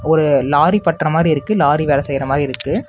ஒரு லாரி பட்ர மாறி இருக்கு லாரி வேல செய்யரமாறி இருக்கு.